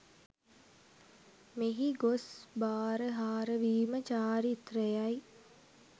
මෙහි ගොස් බාරහාරවීම චාරිත්‍රයයි.